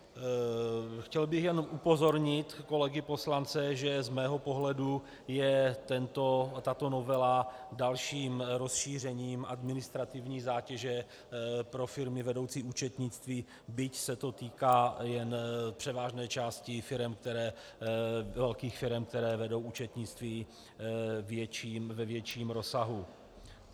Chtěl bych jen upozornit kolegy poslance, že z mého pohledu je tato novela dalším rozšířením administrativní zátěže pro firmy vedoucí účetnictví, byť se to týká jen převážné části velkých firem, které vedou účetnictví ve větším rozsahu.